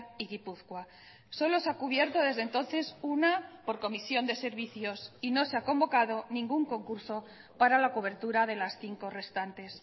y gipuzkoa solo se ha cubierto desde entonces una por comisión de servicios y no se ha convocado ningún concurso para la cobertura de las cinco restantes